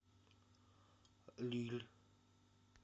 лилль